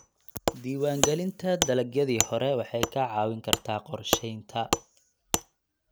Diiwaangelinta dalagyadii hore waxay kaa caawin kartaa qorsheynta.